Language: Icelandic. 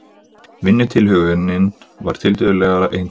Vinnutilhögunin var tiltölulega einföld.